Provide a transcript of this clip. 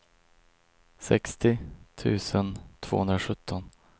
sextio tusen tvåhundrasjutton